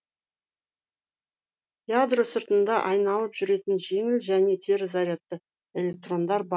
ядро сыртында айналып жүретін жеңіл және теріс зарядты электрондар бар